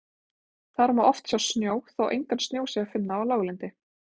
Þar má oft sjá snjó þó engan snjó sé að finna á láglendi.